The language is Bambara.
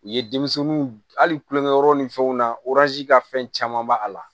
U ye denmisɛnninw hali kulonkɛ yɔrɔw ni fɛnw na ka fɛn caman b'a la